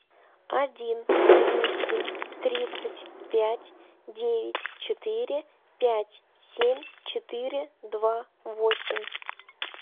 один двести тридцать пять девять четыре пять семь четыре два восемь